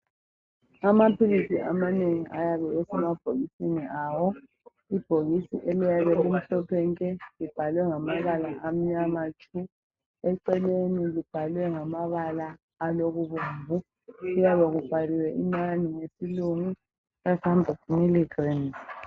Amaphilisi amanengi ayabe esemabhokisini awo. Ibhokisi eliyabe limhlophe nke libhalwe ngamabala amnyama tshu, eceleni libhalwe ngamabala alokubomvu. Kuyabe kubhaliwe inani ngesilungu,"500 milligrams".